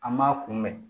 An m'a kunbɛn